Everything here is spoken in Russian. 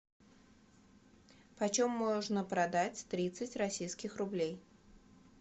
почем можно продать тридцать российских рублей